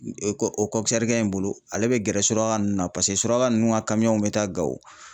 kɛ in bolo ale bɛ gɛrɛ suraka nunnu na paseke suraka nunnu ka bɛ taa Gawo.